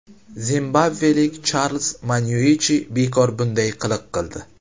Zimbabvelik Charlz Manyuichi bekor bunday qiliq qildi.